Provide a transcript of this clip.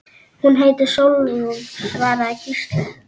Hún heitir Sólrún, svaraði Gísli.